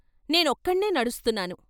నేనొక్కనే నడుస్తున్నాను.